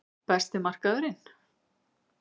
Besti markmaðurinn?